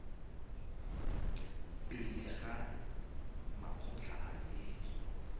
pele ga makgotla a setso